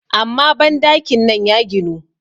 amma bandakin nan ya ginu